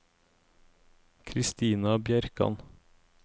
Kristina Bjerkan